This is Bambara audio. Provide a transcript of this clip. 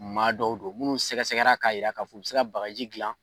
Maa dɔw don minnu sɛgɛsɛra k'a jira k'a fɔ u bɛ se ka bagaji dilan.